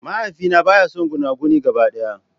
Mahaifina baya son gunaguni gaba daya.